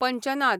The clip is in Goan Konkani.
पंजनाद